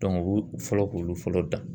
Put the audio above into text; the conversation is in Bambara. Dɔnku u b'u fɔlɔ k'olu fɔlɔ dan